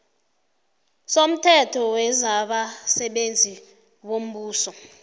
somthetho wezabasebenzi bombuso